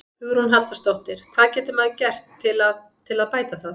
Hugrún Halldórsdóttir: Hvað getur maður gert til að, til að bæta það?